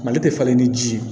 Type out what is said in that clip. Mali tɛ falen ni ji ye